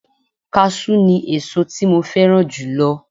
Káṣú ni ẹ̀so tí mo fẹ́ràn jùlọ